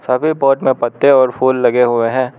सभी पॉट में पत्ते और फूल लगे हुए हैं।